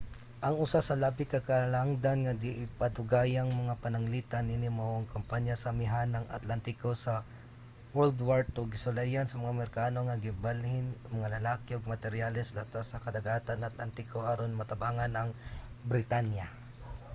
ang usa sa labi ka halangdon nga di pa dugayng mga pananglitan niini mao ang kampanya sa amihanang atlantiko sa wwii. gisulayan sa mga amerikano nga ibalhin ang mga lalaki ug materyales latas sa kadagatang atlantiko aron matabangan ang britanya